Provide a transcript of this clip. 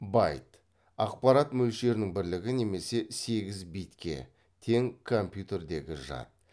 байт ақпарат мөлшерінің бірлігі немесе сегіз битке тең компьютердегі жад